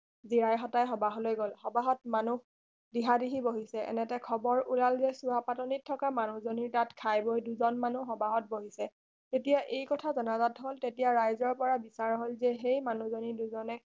জীৰাই সতাই সবাহলৈ গল সবাহত মানু্হ দিহা দিহি বহিছে এনেতে খবৰ ওলাল যে চোৱা পাতনিত থকা মানুহ জনিৰ তাত খাই বৈ দুজন মানুহ সবাহত বহিছে তেতিয়া এই কথা জনাজাত হল তেতিয়া ৰাইজৰ পৰা বিচাৰ হল যে সেই মানুহ জনি দুজনে